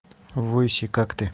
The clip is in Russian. выси как ты